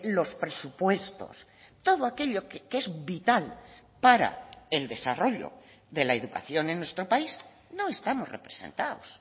los presupuestos todo aquello que es vital para el desarrollo de la educación en nuestro país no estamos representados